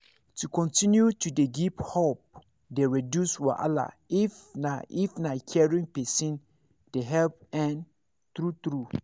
to continue to dey give hope dey reduce wahala if na if na caring person dey help[um]true true